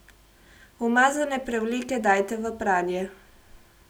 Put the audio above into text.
Umazane prevleke dajte v pranje.